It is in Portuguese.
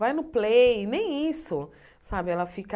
Vai no Play, nem isso. Sabe ela fica